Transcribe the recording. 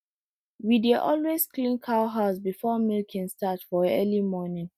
we dey always clean cow house before milking start for early morning